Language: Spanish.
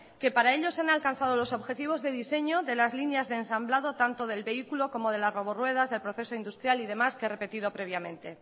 que para ellos han alcanzado los objetivos de diseño de las líneas de ensamblado tanto del vehículo como de las roboruedas del proceso industrial y demás que he repetido previamente